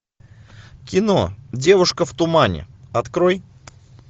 кино девушка в тумане открой